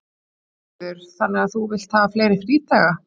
Sigríður: Þannig að þú vilt hafa fleiri frídaga?